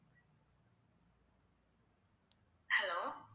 hello